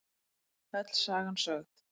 Öll sagan sögð